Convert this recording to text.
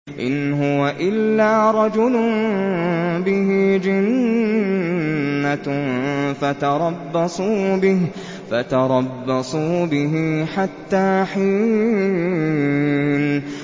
إِنْ هُوَ إِلَّا رَجُلٌ بِهِ جِنَّةٌ فَتَرَبَّصُوا بِهِ حَتَّىٰ حِينٍ